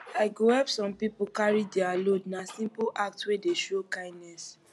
i go help someone carry dia load na simple act wey dey show kindness